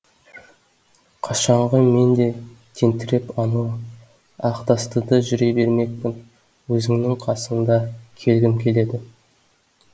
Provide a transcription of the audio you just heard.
қашанғы мен де тентіреп анау ақтастыда жүре бермекпін өзіңнің қасыңда келгім келеді